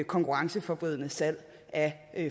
konkurrenceforvridende salg af